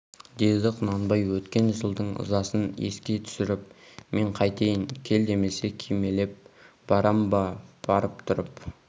деді құнанбай өткен жылдың ызасын еске түсіріп мен қайтейін кел демесе кимелеп барам ба барып тұрып